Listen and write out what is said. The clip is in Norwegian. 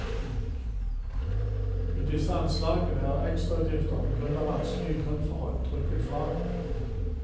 I disse anslagene er ekstrautgifter på grunn av vanskelige grunnforhold trukket fra.